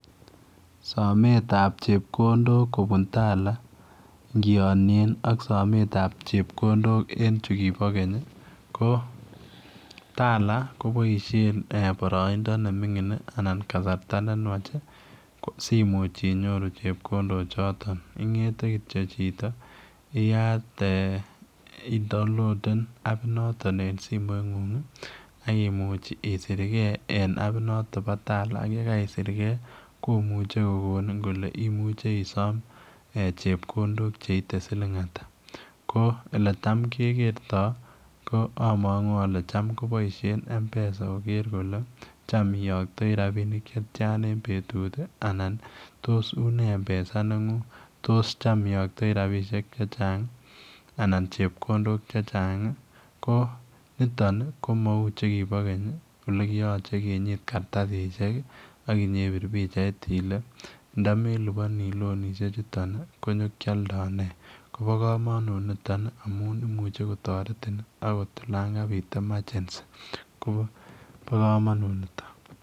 Somet ab chekondok kobun tala ngiyonyen ak somet ab chekondok en chukobo Keny ko tala kiboishen boroindo me mingin anan kasarta ne nwach si imuch inyoru chekondok choton ingete chito iyat ee idaonloden ap noto em simoit ngung ak imuch isirke en apit noto bo tala ak yekaisirke ko muche ko konin kole imuche isom chekondok cheite siling ata ko oletam kekerto ko amangu kole cham keboishen mpesa koker kole Tom iyoktoi rabinik cheite siling ata en betut anan ko une mpesa nengungtos tamioktoi rapisiek che chang anan chekondok chechang ko Niton komau che kino Keny chekiyoche kinyit kartasisyek ak inyeibir pichait ile ndomeliponi lonisiek chuton nyokiolndoi ne kobo komonut Niton amun imuche kotoretin akot olon Kabit emergency ko kobo kamanut niton